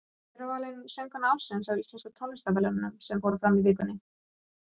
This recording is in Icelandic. Hver var valin söngkona ársins á íslensku tónlistarverðlaununum sem fóru fram í vikunni?